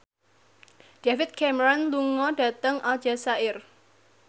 David Cameron lunga dhateng Aljazair